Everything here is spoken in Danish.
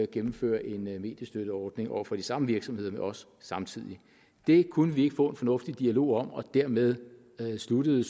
gennemføre en en mediestøtteordning over for de samme virksomheder med os samtidig det kunne vi ikke få en fornuftig dialog om og dermed sluttede